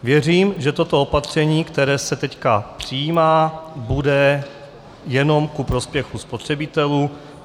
Věřím, že toto opatření, které se teď přijímá, bude jenom ku prospěchu spotřebitelů.